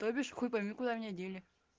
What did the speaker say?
тобишь хуй пойми куда меня дели